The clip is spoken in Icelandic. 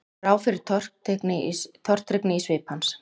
Brá fyrir tortryggni í svip hans?